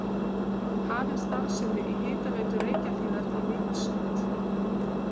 Hafin starfsemi Hitaveitu Reykjahlíðar í Mývatnssveit.